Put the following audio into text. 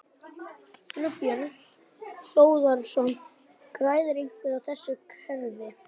Þorbjörn Þórðarson: Græðir einhver á þessu kerfi?